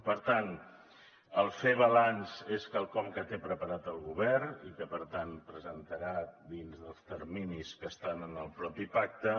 per tant el fer balanç és quelcom que té preparat el govern i que per tant presentarà dins dels terminis que estan en el mateix pacte